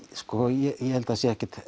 ég held að það sé ekkert